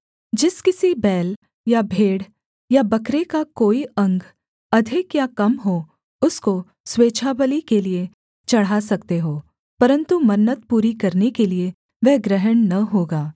जिस किसी बैल या भेड़ या बकरे का कोई अंग अधिक या कम हो उसको स्वेच्छाबलि के लिये चढ़ा सकते हो परन्तु मन्नत पूरी करने के लिये वह ग्रहण न होगा